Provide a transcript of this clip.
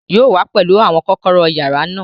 Yóò wá pẹlú àwọn kọ́kọ́rọ́ yàrá náà